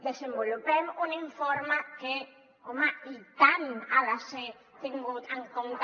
desenvolupem un informe que home i tant ha de ser tingut en compte